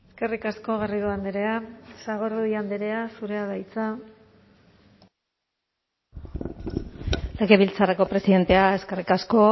eskerrik asko garrido andrea sagardui andrea zurea da hitza legebiltzarreko presidentea eskerrik asko